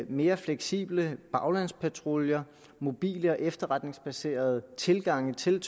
mere fleksible baglandspatruljer mobile og efterretningsbaserede tilgange til